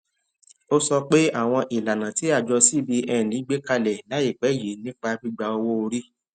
ó sọ pé àwọn ìlànà tí àjọ cbn gbé kalẹ láìpé yìí nípa gbígba owó orí